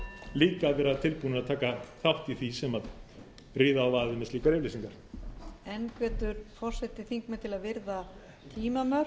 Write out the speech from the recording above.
líka að vera tilbúnir að taka þátt í því sem ríða á vaðið með slíkar yfirlýsingar